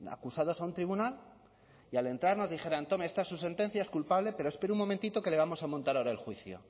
acusados a un tribunal y al entrar nos dijeran tome esa es su sentencia es culpable pero espere un momentito que le vamos a montar ahora el juicio